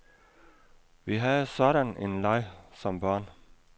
Vi havde sådan en leg som børn.